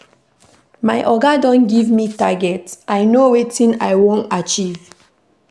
My oga don give me target, I know wetin I wan achieve.